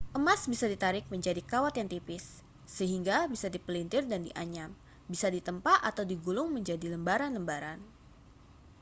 emas bisa ditarik menjadi kawat yang tipis sehingga bisa dipelintir dan dianyam bisa ditempa atau digulung menjadi lembaran-lembaran